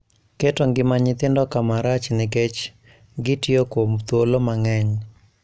Keto ngima nyithindo kama rach nikech gitiyo kuom thuolo mang`eny